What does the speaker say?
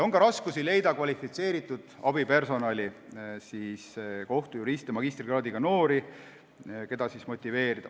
On ka raskusi leida kvalifitseeritud abipersonali, kohtujuriste, magistrikraadiga noori, keda saaks motiveerida.